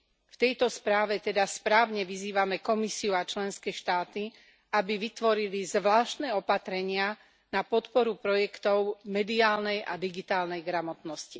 V tejto správe teda správne vyzývame Komisiu a členské štáty, aby vytvorili zvláštne opatrenia na podporu projektov mediálnej a digitálnej gramotnosti.